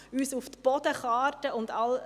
Das ist da eine.